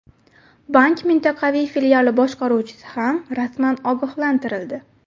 Bank mintaqaviy filiali boshqaruvchisi ham rasman ogohlantirildi.